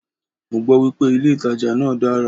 Mọ gbọ́ wípé ilé ìtajà náà dára.